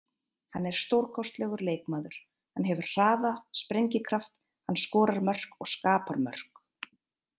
Hann er stórkostlegur leikmaður, hann hefur hraða, sprengikraft, hann skorar mörk og skapar mörk.